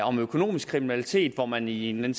om økonomisk kriminalitet hvor man i en